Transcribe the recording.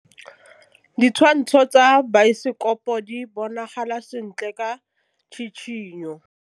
Ditshwantshô tsa biosekopo di bonagala sentle ka tshitshinyô.